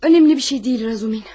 Önemli bir şey deyil Razumin.